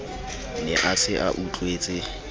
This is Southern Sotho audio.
ne a se a utlwetse